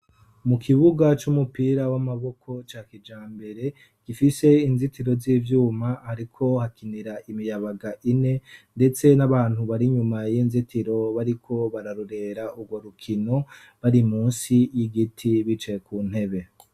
mu kibuga c'umupira w'amaboko ca kijambere gifise inzitiro z'ivyuma hariko hakinira imiyabaga ine ndetse n'abantu barinyuma y'inzitiro bariko bararorera urwo rukino bari munsi y'igiti bicaye ku ntebe